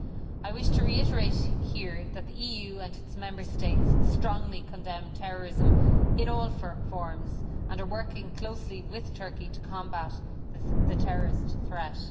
I wish to reiterate here that the EU and its Member States strongly condemn terrorism in all forms and are working closely with Turkey to combat the terrorist threat.